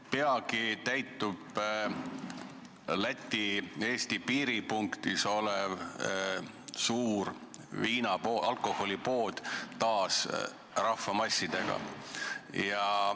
Peagi täitub endises Läti–Eesti piiripunktis olev suur alkoholipood taas rahvamassidega.